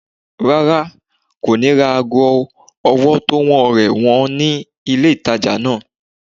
Rárá, kò ní ra ago ọwọ́ tówó rẹ̀ wọ́n ní ilé ìtajà náà